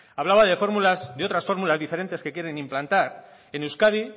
hablaba de otras fórmulas diferentes que quieren implantar en euskadi